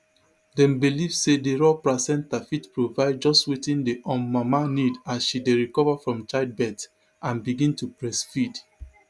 dem believe say di raw placenta fit provide just wetin di um mama need as she dey recover from childbirth and begin to breastfeed